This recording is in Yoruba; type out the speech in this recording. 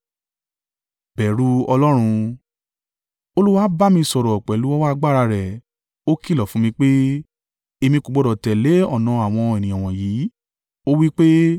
Olúwa bá mi sọ̀rọ̀ pẹ̀lú ọwọ́ agbára rẹ̀ o ìkìlọ̀ fún mi pé, èmi kò gbọdọ̀ tẹ̀lé ọ̀nà àwọn ènìyàn wọ̀nyí. Ó wí pé,